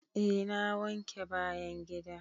Eh na wanke bayan gida.